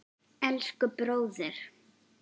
Elsku bróðir!